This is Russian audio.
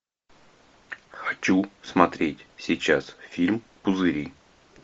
хочу смотреть сейчас фильм пузыри